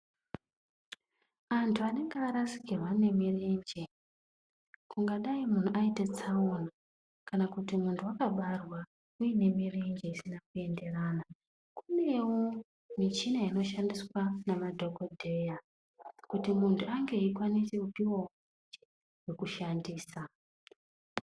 Antu anenge arasikirwa ngemirenje kungadai muntu aita tsaona kana kuti muntu akabarwa aine mirenje isina kuenderana . Kunewo michina inoshandiswa ngema dhokodheya kuti muntu ange aikwanisa kupuwawo zvekushandisa